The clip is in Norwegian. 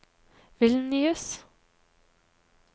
Vilnius